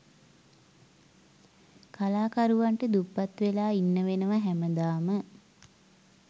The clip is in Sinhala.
කලාකරුවන්ට දුප්පත් වෙලා ඉන්න වෙනව හැමදාම.